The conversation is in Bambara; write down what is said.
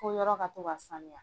Fo yɔrɔ ka to ka Samuya.